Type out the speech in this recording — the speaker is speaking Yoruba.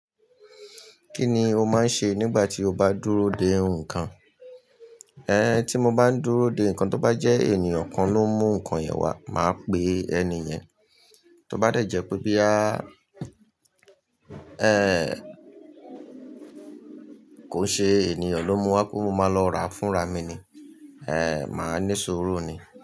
Kí ni o máa ń ṣe nígbà tí o bá dúró dè nǹkan? Ẹn, tí mo bá ń dúró dè nǹkan, tí ó bá jẹ́ ènìyàn kan ló ń mú nǹkan yẹn wá, màá pè ẹni yẹn. Tó bá dẹ̀ jẹ́ pé bí a ẹ́ kò ṣe ènìyàn ló mú wá, pe mo máa lọ ra fúnra mi ni, ẹ́, màá ní suru ni.